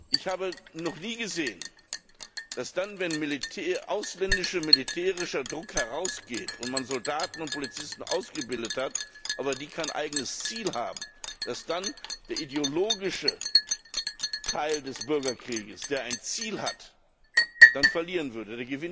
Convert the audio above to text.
Ich habe noch nie gesehen, dass, wenn ausländischer militärischer Druck herausgeht und man Soldaten und Polizisten ausgebildet hat, die aber kein eigenes Ziel haben, der ideologische Teil des Bürgerkriegs, der ein Ziel hat, dann verlieren würde.